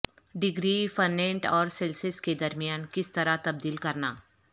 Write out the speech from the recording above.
degree Fahrenheit اور Celsius کے درمیان کس طرح تبدیل کرنا